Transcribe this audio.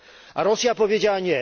A Rosja powiedziała